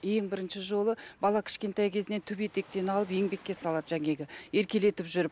ең бірінші жолы бала кішкентай кезінен түп етектен алып еңбекке салады еркелетіп жүріп